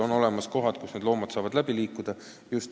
On olemas kohad, kus loomad saavad läbi piiriala liikuda.